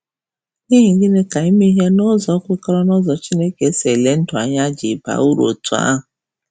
N’ihi gịnị ka ime ihe n’ụzọ kwekọrọ n’ụzọ Chineke si ele ndụ anya ji um baa uru otú ahụ?